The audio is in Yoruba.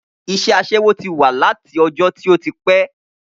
Iṣẹ́ asẹ́wó ti wà láti ọjọ́ tí ó ti pé